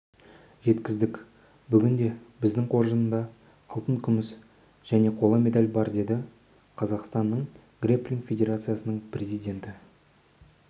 жеткіздік бүгінде біздің қоржында алтын күміс және қола медаль бар деді қазақстанның грэпплинг федерациясының президенті